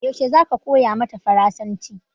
Yaushe zaka koya mata farasanci?